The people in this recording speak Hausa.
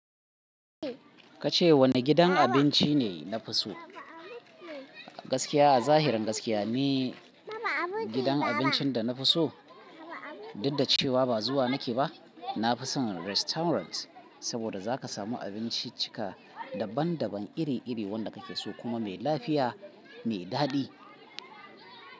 Ka ce wani gidan abinci ne na fi so? Gaskiya a zahirin gaskiya ne gidan abincin da na fi so. Dudda cewa ba zuwa nake ba, na fi son restaurant saboda za ka samu abinciccika daban daban iri iri wanda ka ke so kuma mai lafiya mai daɗi.